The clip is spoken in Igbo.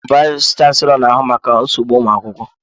Vayis chansilọ na ahụ maka nsogbu ụmụ akwụkwọ.